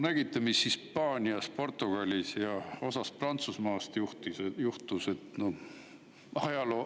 Nägite, mis Hispaanias, Portugalis ja osas Prantsusmaast juhtus?